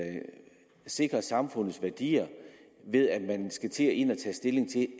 sikre samfundets værdier ved at man skal ind at tage stilling til